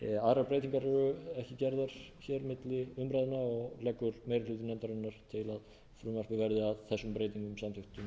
aðrar breytingar eru ekki gerðar hér milli umræðna og leggur meiri hluti nefndarinnar